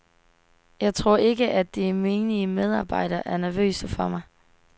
Jeg tror ikke, at de menige medarbejdere er nervøse for mig.